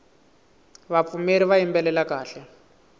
vapfumeri va yimbelela kahle